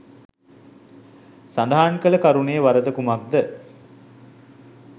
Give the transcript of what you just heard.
සදහන් කල කරුණේ වරද කුමක්ද?